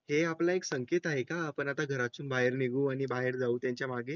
हे आपला एक संकेत आहे का आपल्या घराच्या बाहेर निघू आणि बाहेर जाऊन त्याच्या मागे आहे